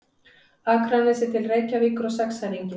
Akranesi til Reykjavíkur á sexæringi.